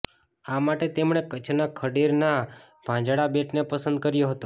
આ માટે તેમણે કચ્છના ખડીરના ભાંજડા બેટને પસંદ કર્યો હતો